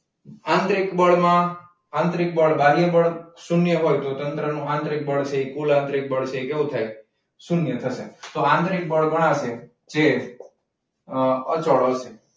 આંતરિક બળમાં આંતરિક બાહ્ય બળ શૂન્ય હોય તો તંત્રનું આંતરિક બળ છે ની કુલ આંતરિક બળ છે એ કેટલું થાય શૂન્ય થશે તો આંતરિક બળ ગણાશે. જે અમ અચળ છે.